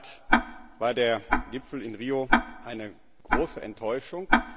In der Tat war der Gipfel in Rio eine große Enttäuschung.